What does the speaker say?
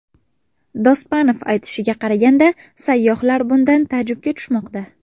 Dospanov aytishiga qaraganda sayyohlar bundan taajubga tushmoqda.